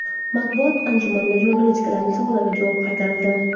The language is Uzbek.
Matbuot anjumanida jurnalistlarning savollariga javob qaytarildi.